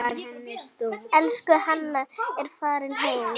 Elsku Hanna er farin heim.